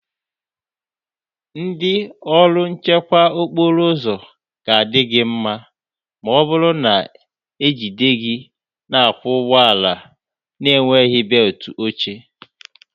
Ndị ọrụ nchekwa okporo ụzọ ga-adị gị mma, ma ọ bụrụ na ejide gị na-akwọ ụgbọala na-enweghị belt oche